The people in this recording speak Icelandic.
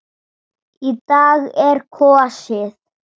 Í dag er kosið.